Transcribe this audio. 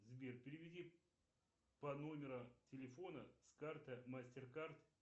сбер переведи по номеру телефона с карты мастер кард